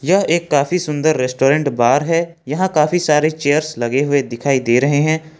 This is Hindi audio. यह एक काफी सुंदर रेस्टोरेंट बार है यहां काफी सारे चेयर्स लगे हुए दिखाई दे रहे हैं।